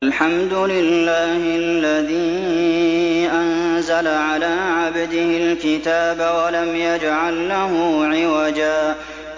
الْحَمْدُ لِلَّهِ الَّذِي أَنزَلَ عَلَىٰ عَبْدِهِ الْكِتَابَ وَلَمْ يَجْعَل لَّهُ عِوَجًا ۜ